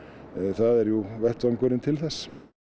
það er jú vettvangurinn til þess